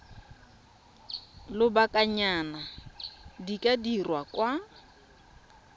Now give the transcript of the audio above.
lobakanyana di ka dirwa kwa